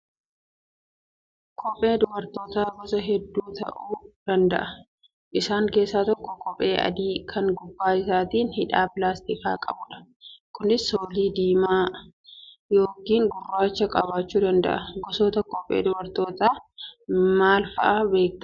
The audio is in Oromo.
Kopheen dubartootaa gosa hedduu ta'uu danda'a. Isaan keessaa tokko kopheen adii kan gubbaa isaatiin hidhaa pilaastikaa qabudha. Kunis soolii diimaa yookaan gurraacha qabaachuu danda'u. Gosoota kophee dubartootaa maal fa'aa beektaa?